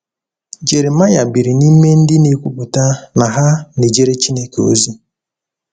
Jeremaịa biri n’ime ndị na-ekwupụta na ha na-ejere Chineke ozi.